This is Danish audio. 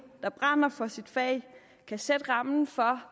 der brænder for sit fag kan sætte rammen for